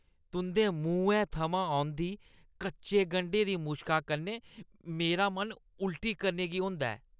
तुंʼदे मुहैं थमां औंदी कच्चे गंढें दी मुश्का कन्नै मेरा मन उल्टी करने गी होंदा ऐ ।